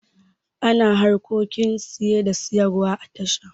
Ana harkokin saye da sayarwa a tasha.